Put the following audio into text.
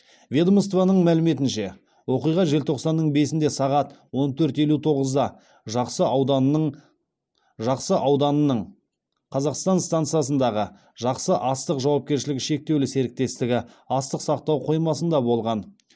ведомствоның мәліметінше оқиға желтоқсанның бесінде сағат он төрт елу тоғызда жақсы ауданының жақсы ауданының казақстан стансасындағы жақсы астық жауапкершілігі шектеулі серіктестігі астық сақтау қоймасында болған